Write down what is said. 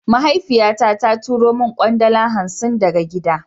Mahaifiya na ta turo min kwandala hansi daga kaduna.